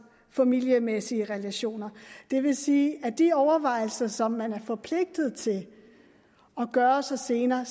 familiemæssige relationer det vil sige at de overvejelser som man er forpligtet til at gøre sig senere